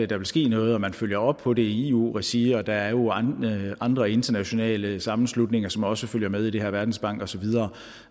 der vil ske noget og man følger op på det i eu regi og der er jo andre internationale sammenslutninger som også følge med i det her verdensbanken og så videre